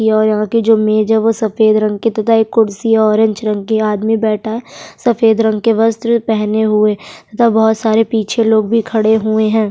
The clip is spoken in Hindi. और यहाँ की जो मेज है वो सफेद रंग के तथा एक कुर्सी ऑरेंज रंग की आदमी बैठा है सफेद रंग के वस्त्र पहने हुए तथा बहुत सारे पीछे लोग भी खड़े हुए हैं।